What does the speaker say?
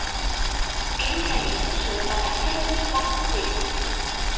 Ein kenning er sú að ekki hafi þurft vatn til.